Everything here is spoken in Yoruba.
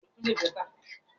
Awọn eso wa fun ohun elo ile